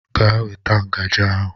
Gaa weta ngaji ahụ.